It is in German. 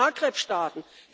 aus den Maghreb Staaten.